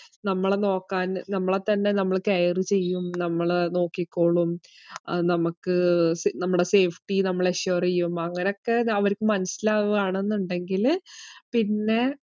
നമ്മളെ നോക്കാൻ നമ്മളെത്തന്നെ നമ്മള് care ചെയ്യും, നമ്മള് നോക്കിക്കോളും ആഹ് നമ്മക്ക് സ~ നമ്മടെ safety നമ്മള് assure എയ്യും അങ്ങനൊക്കെ അവരിക്ക് മനസ്സിലാവ്വാണെന്നുണ്ടെങ്കില് പിന്നെ